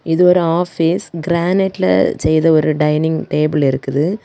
இது ஒரு ஆபீஸ் கிரானைட்ல செய்த ஒரு டைனிங் டேபிள் இருக்குது.